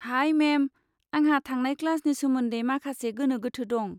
High ma'am, आंहा थांनाय क्लासनि सोमोन्दै माखासे गोनो गोथो दं।